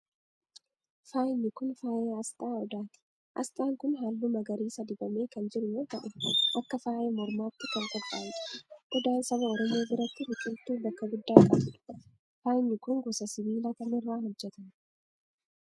Faayni kun, faaya asxaa odaati. Asxaan kun, haalluu magariisa dibamee kan jiru yoo ta'u, akka faaya mormaatti kan qophaa'edha. Odaan saba oromoo biratti biqiltuu bakka guddaa qabuu dha. Faayni kun gosa sibiilaa kam irraa hojjatame?